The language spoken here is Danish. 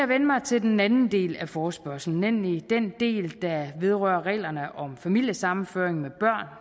vende mig til den anden del af forespørgslen nemlig den del der vedrører reglerne om familiesammenføring med